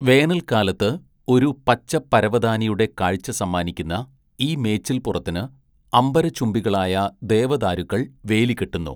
വേനൽക്കാലത്ത് ഒരു പച്ച പരവതാനിയുടെ കാഴ്ച സമ്മാനിക്കുന്ന ഈ മേച്ചിൽപ്പുറത്തിന് അംബരചുംബികളായ ദേവദാരുക്കൾ വേലി കെട്ടുന്നു.